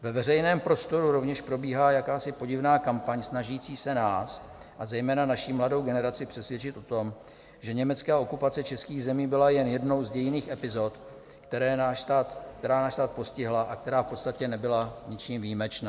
Ve veřejném prostoru rovněž probíhá jakási podivná kampaň snažící se nás a zejména naši mladou generaci přesvědčit o tom, že německá okupace českých zemí byla jen jednou z dějinných epizod, která náš stát postihla a která v podstatě nebyla ničím výjimečná.